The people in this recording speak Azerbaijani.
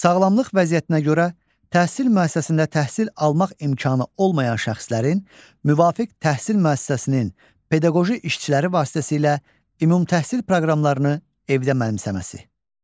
Sağlamlıq vəziyyətinə görə təhsil müəssisəsində təhsil almaq imkanı olmayan şəxslərin müvafiq təhsil müəssisəsinin pedaqoji işçiləri vasitəsilə ümumtəhsil proqramlarını evdə mənimsəməsi.